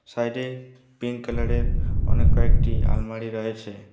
Side -এ pink colour -এর অনেক কয়েকটি আলমারি রয়েছে।